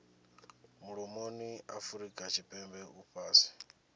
mulomoni afurika tshipembe u fhasi